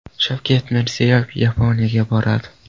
Shavkat Mirziyoyev Yaponiyaga boradi.